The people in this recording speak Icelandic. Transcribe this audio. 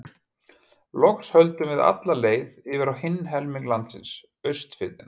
Loks höldum við alla leið yfir á hinn helming landsins, Austfirðina.